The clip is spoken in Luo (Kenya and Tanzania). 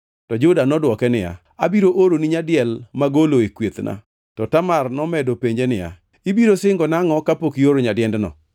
To Juda nodwoke niya, “Abiro oroni nyadiel magolo e kwethna.” To Tamar nomedo penje niya, “Ibiro singona angʼo kapok ioro nyadiendno?”